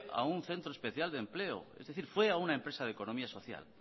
a un centro especial de empleo es decir fue a una empresa de economía social